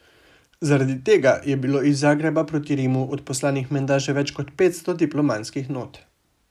Zaradi tega je bilo iz Zagreba proti Rimu odposlanih menda že več kot petsto diplomatskih not.